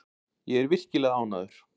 Ég er virkilega ánægður.